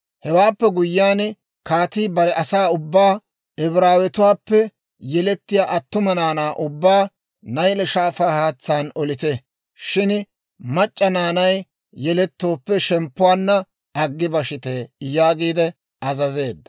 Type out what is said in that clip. Hewaappe guyyiyaan kaatii bare asaa ubbaa, «Ibraawatuwaappe yelettiyaa attuma naanaa ubbaa Nayle Shaafaa haatsaan olite; shin mac'c'a naanay yeletooppe, shemppuwaanna aggi bashite» yaagiide azazeedda.